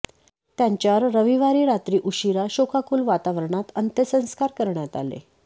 त्यांच्यावर रविवारी रात्री उशिरा शोकाकुल वातावरणात अंत्यसंस्कार करण्यात आले